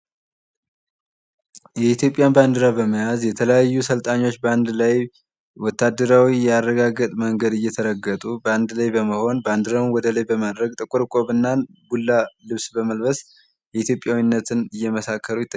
የኢትዮጵያን ባንዲራ በመያዝ የተለያዩ አሰልጣኞች በአንድ ላይ ወታደራዊ የአረጋገጥ መንገድ እየተረገጡ በአንድ ላይ በመሆን ባንዲራቸውን ወደላይ በማድረግ ጥቁር ቆብና ቡላ ልብስ በመልበስ ኢትዮጵያዊነትን እየመሰከሩ ይታያሉ።